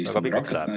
Väga pikaks läheb.